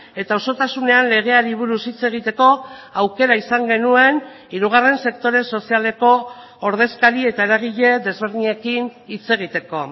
eta osotasunean legeari buruz hitz egiteko aukera izan genuen hirugarren sektore sozialeko ordezkari eta eragile desberdinekin hitz egiteko